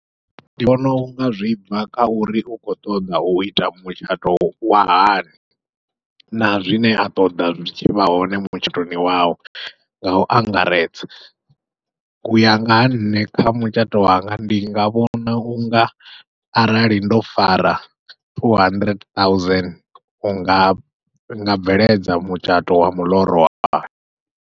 Ndi vhona unga zwi bva kha uri u khou ṱoḓa uita mutshato wa hani, na zwine a ṱoḓa zwi tshi vha hone mutshatoni wawe ngau angaredza. Uya nga ha nṋe kha mutshato wanga ndi nga vhona unga arali ndo fara two hundred thousand unga nga bveledza mutshato wa miḽoro wanga.